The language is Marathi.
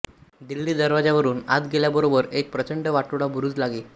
दिल्ली दरवाजातून आत गेल्याबरोबर एक प्रचंड वाटोळा बुरूज लागे